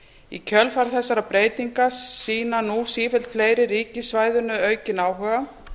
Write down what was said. í kjölfar þessara breytinga sýna nú sífellt fleiri ríki svæðinu aukinn áhuga